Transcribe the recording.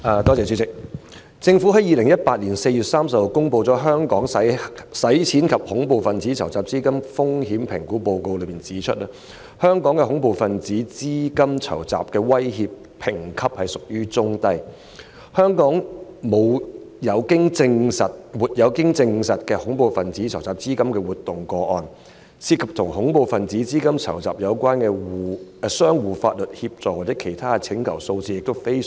政府在2018年4月30日公布《香港的洗錢及恐怖分子資金籌集風險評估報告》，當中指出香港的恐怖分子資金籌集威脅評級屬於中低水平，香港沒有經證實的恐怖分子資金籌集活動個案，涉及與恐怖分子資金籌集有關的相互法律協助或其他請求數字亦非常少。